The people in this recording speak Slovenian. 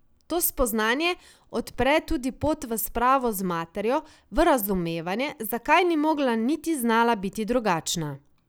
To spoznanje odpre tudi pot v spravo z materjo, v razumevanje, zakaj ni mogla niti znala biti drugačna.